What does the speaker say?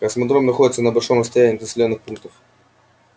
космодром находится на большом расстоянии от населённых пунктов